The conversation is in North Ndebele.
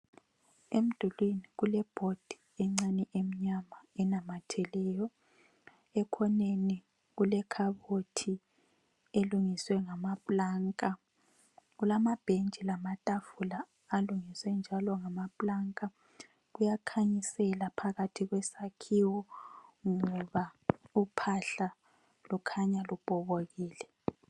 Emdulwini kuleboard encane emnyama enamatheleyo. Ekhoneni kulekhabothi elungiswe ngamaplanka. Kulamabhentshi lamatafula alungiswe njalo ngamaplanka. Kuyakhanyisela phakathi kwesakhiwo ngoba uphahla lukhanya lubhokokile.